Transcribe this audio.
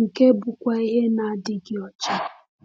nke bụkwa ihe na-adịghị ọcha.